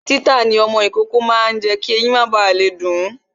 Títà ní ọmọ ìkókó máa ń jé kí ẹyin má ba le dun